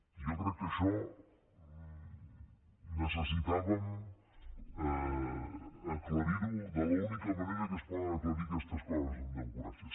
jo crec que això necessitàvem aclarir ho de l’única manera que es poden aclarir aquestes coses en democràcia